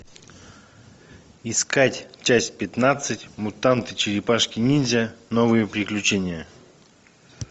искать часть пятнадцать мутанты черепашки ниндзя новые приключения